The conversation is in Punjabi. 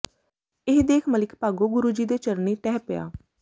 ਇਹ ਦੇਖ ਮਲਿਕ ਭਾਗੋ ਗੁਰੂ ਜੀ ਦੇ ਚਰਨੀ ਢਹਿ ਪਿਆ